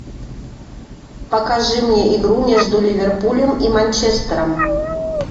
покажи мне игру между ливерпулем и манчестером